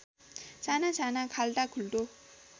सानासाना खाल्टा खुल्टो